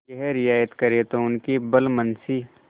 यह रियायत करें तो उनकी भलमनसी